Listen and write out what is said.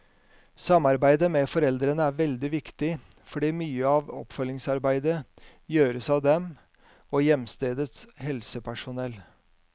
Samarbeidet med foreldrene er veldig viktig, fordi mye av oppfølgingsarbeidet gjøres av dem og hjemstedets helsepersonell.